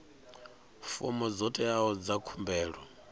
fomo dzo teaho dza khumbelo